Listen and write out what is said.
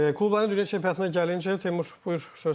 Klubların Dünya Çempionatına gəlinəcək Teymur, buyur söz səndədir.